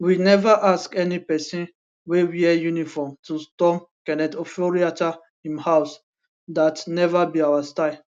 we neva ask any pesin wey wear uniform to storm kenneth oforiatta im house dat neva be our style